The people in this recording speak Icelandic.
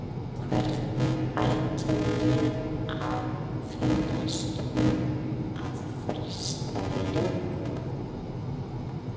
Hvernig ætti mér að finnast um að fresta leiknum?